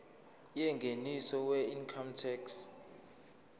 yengeniso weincome tax